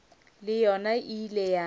le yona e ile ya